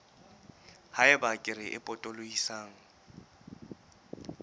ha eba kere e potolohisang